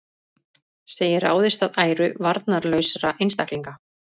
Segir ráðist að æru varnarlausra einstaklinga